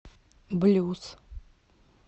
блюз